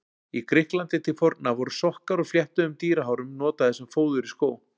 Í Grikklandi til forna voru sokkar úr fléttuðum dýrahárum notaðir sem fóður í skó.